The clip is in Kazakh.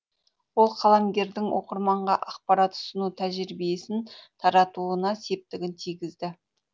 ол қаламгердің оқырманға ақпарат ұсыну тәжірибесін таратуына септігін тигізді